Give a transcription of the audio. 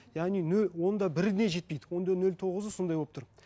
яғни он да біріне жетпейді он да нөл тоғызы сондай болып тұр